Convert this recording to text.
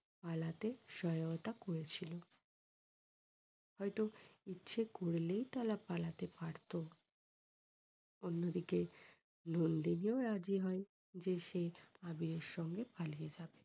পালতে সহায়তা করেছিল। হয়তো ইচ্ছে করলেই তারা পালতে পারতো অন্যদিকে নন্দিনীও রাজি হয় যে সে আবিরের সঙ্গে পালিয়ে যাবে।